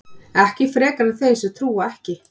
ekki frekar en þeir sem trúa ekki